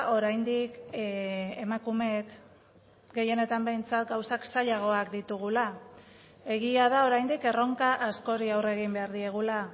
oraindik emakumeek gehienetan behintzat gauzak zailagoak ditugula egia da oraindik erronka askori aurre egin behar diegula